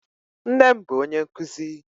Nne m bụ ónyé nkuzi